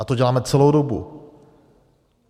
A to děláme celou dobu.